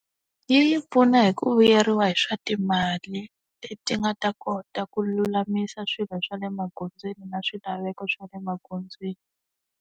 Yi yi pfuna hi ku vuyeriwa hi swa timali, leti nga ta kota ku lulamisa swilo swa le magondzweni na swilaveko swa le magondzweni.